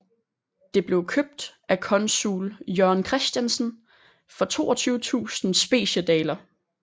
Det blev købt af consul Jørgen Christiansen for 22000 Speciedaler